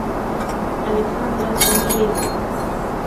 александра андреевна